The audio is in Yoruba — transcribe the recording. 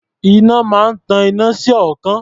Iná máa ń tan iná sí ọ̀ọ́kán.